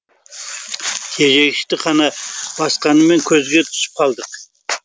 тежегішті қанша басқаныммен көзге түсіп қалдық